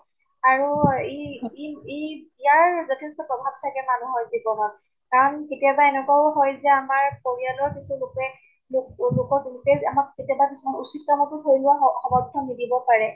আৰু ই ই এই ইয়াৰ যথেষ্ট প্ৰভাৱ থাকে মানুহৰ জীৱনত। কাৰণ কেতিয়াবা এনেকুৱাও হয় যে আমাৰ পৰিয়ালৰ কিছু লোকে আমাক কেতিয়াবা কিছুমান উচিত কাম টো ধৰি লোৱা স সমৰ্থন নিদিব পাৰে